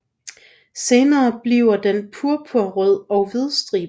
Senere bliver den purpurrød og hvidstribet